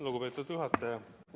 Lugupeetud juhataja!